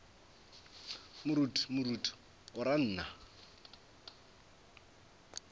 moruti moruti o ra nna